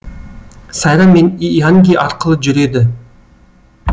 сайрам мен ианги арқылы жүреді